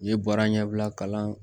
I ye baara ɲɛbila kalan